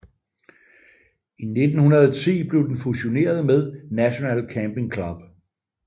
I 1910 blev den fusioneret med National Camping Club